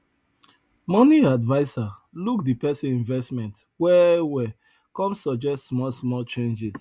money adviser look the person investment well well come suggest small small change